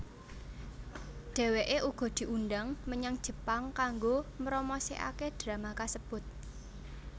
Dheweké uga diundhang menyang Jepang kanggo mromosikaké drama kasebut